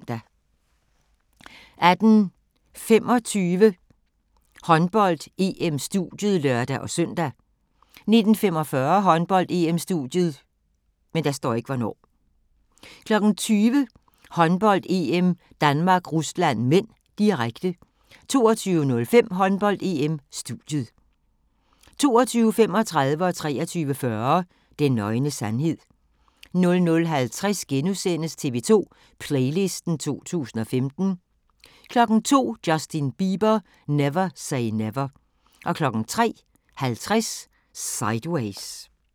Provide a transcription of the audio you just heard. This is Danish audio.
18:25: Håndbold: EM - studiet (lør-søn) 19:45: Håndbold: EM - studiet 20:00: Håndbold: EM - Danmark-Rusland (m), direkte 22:05: Håndbold: EM - studiet 22:35: Den nøgne sandhed 23:40: Den nøgne sandhed 00:50: TV 2 Playlisten 2015 * 02:00: Justin Bieber: Never Say Never 03:50: Sideways